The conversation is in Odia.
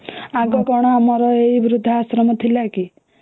ଆଗ କଣ ଆମର ଏଇ ବୃଦ୍ଧା ଆଶ୍ରମ ଥିଲା କି